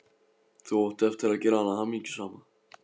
Þú átt eftir að gera hana hamingjusama.